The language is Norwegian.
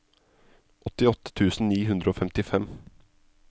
åttiåtte tusen ni hundre og femtifem